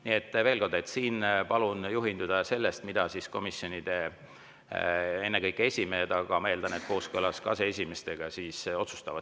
Nii et veel kord, palun juhinduda sellest, mida komisjonide esimehed, ma eeldan, kooskõlas aseesimeestega otsustavad.